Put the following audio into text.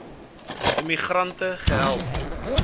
immi grante gehelp